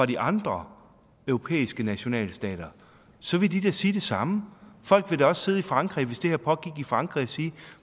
de andre europæiske nationalstater så ville de da sige det samme folk vil da også sidde i frankrig hvis det her foregik i frankrig og sige